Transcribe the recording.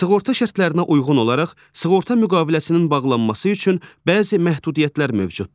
Sığorta şərtlərinə uyğun olaraq sığorta müqaviləsinin bağlanması üçün bəzi məhdudiyyətlər mövcuddur.